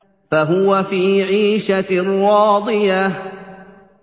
فَهُوَ فِي عِيشَةٍ رَّاضِيَةٍ